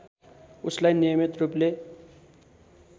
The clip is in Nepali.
उसलाई नियमित रूपले